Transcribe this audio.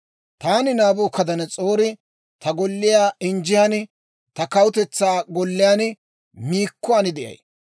«Taani Naabukadanas'oori, ta golliyaa injjiyaan, ta kawutetsaa golliyaan miikkuwaan de'ay.